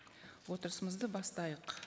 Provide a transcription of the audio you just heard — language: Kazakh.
отырысымызды бастайық